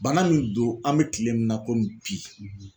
Bana min don an bɛ kile min na komi bi